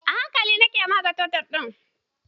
A hankali nike matsa tottle ɗin